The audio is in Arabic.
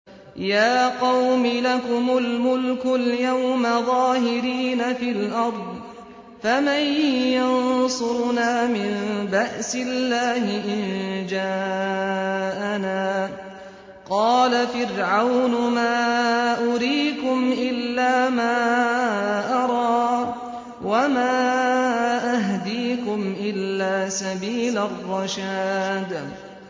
يَا قَوْمِ لَكُمُ الْمُلْكُ الْيَوْمَ ظَاهِرِينَ فِي الْأَرْضِ فَمَن يَنصُرُنَا مِن بَأْسِ اللَّهِ إِن جَاءَنَا ۚ قَالَ فِرْعَوْنُ مَا أُرِيكُمْ إِلَّا مَا أَرَىٰ وَمَا أَهْدِيكُمْ إِلَّا سَبِيلَ الرَّشَادِ